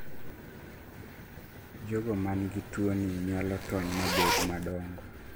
jogo man gi tuo ni nyalo tony mabed madongo